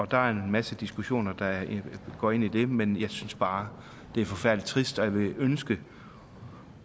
der er en masse diskussioner der går ind i det men jeg synes bare det er forfærdelig trist og jeg ville ønske